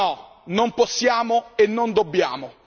No, non possiamo e non dobbiamo.